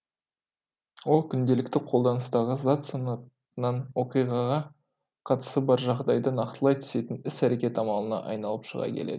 ол күнделікті қолданыстағы зат санатынан оқиғаға қатысы бар жағдайды нақтылай түсетін іс әрекет амалына айналып шыға келеді